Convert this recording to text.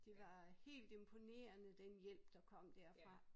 Det var helt imponerende den hjælp der kom derfra